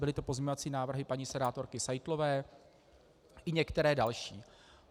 Byly to pozměňovací návrhy paní senátorky Seitlové, i některé další.